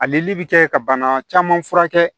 Alelili bi kɛ ka bana caman furakɛ